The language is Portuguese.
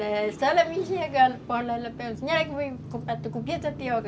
A senhora me enxergar, comprar tucupi ou tapioca?